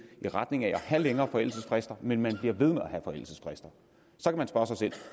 i retning af at have længere forældelsesfrister men man bliver ved med at have forældelsesfrister